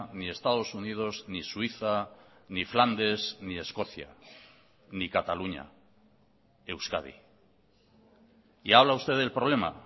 ni estados unidos ni suiza ni flandes ni escocia ni cataluña euskadi y habla usted del problema